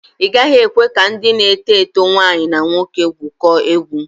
Ị gaghị ekwe ka ndị na-eto eto nwaanyi na nwoke gwụkọọ egwu.